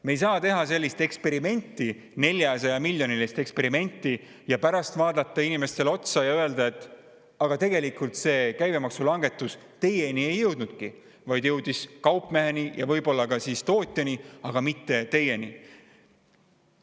Me ei saa teha sellist eksperimenti, 400‑miljonilist eksperimenti ja pärast vaadata inimestele otsa ja öelda, et aga tegelikult see käibemaksulangetuse mõju teieni ei jõudnudki, vaid jõudis kaupmeheni ja võib-olla ka tootjani, aga mitte teieni.